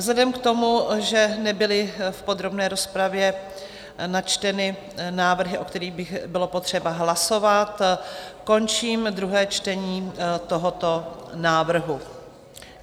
Vzhledem k tomu, že nebyly v podrobné rozpravě načteny návrhy, o kterých by bylo potřeba hlasovat, končím druhé čtení tohoto návrhu.